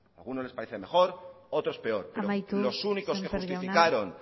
a algunos les parece mejor otros peor amaitu sémper jauna pero los únicos que justificaron